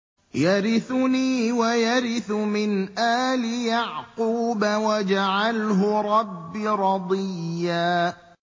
يَرِثُنِي وَيَرِثُ مِنْ آلِ يَعْقُوبَ ۖ وَاجْعَلْهُ رَبِّ رَضِيًّا